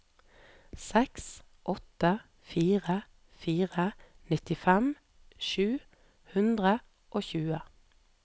seks åtte fire fire nittifem sju hundre og tjue